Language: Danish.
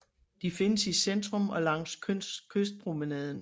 De findes i centrum og langs kystpromenaden